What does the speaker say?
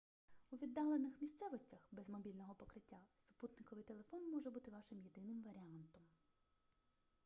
у віддалених місцевостях без мобільного покриття супутниковий телефон може бути вашим єдиним варіантом